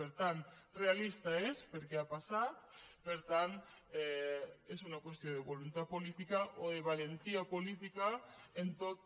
per tant realista ho és perquè ha passat per tant és una qüestió de voluntat política o de valentia política en tot